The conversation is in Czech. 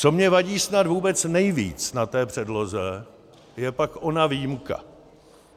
Co mně vadí snad vůbec nejvíc na té předloze, je pak ona výjimka.